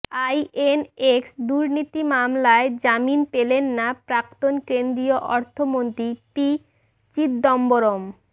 INX দুর্নীতি মামলায় জামিন পেলেন না প্রাক্তন কেন্দ্রীয় অর্থমন্ত্রী পি চিদম্বরম